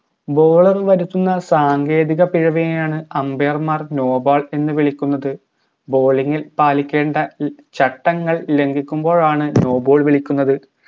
bowler വരുത്തുന്ന സാങ്കേതിക പിഴവിനെയാണ് umbair മാർ no ball എന്ന് വിളിക്കുന്നത് bowling ഇൽ പാലിക്കേണ്ട ല് ചട്ടങ്ങൾ ലംഘിക്കുമ്പോഴാണ് no ball വിളിക്കുന്നത്